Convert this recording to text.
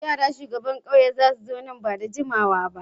Yara shugaban kauye za su zo nan ba da jimawa ba.